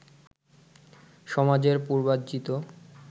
সমাজের পূর্বার্জিত